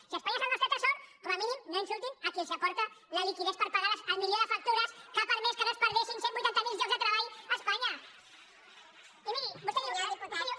si espanya és el nostre tresor com a mínim no insultin a qui els aporta la liquiditat per pagar el milió de factures que ha permès que no es perdessin cent i vuitanta miler llocs de treball a espanya i miri vostè diu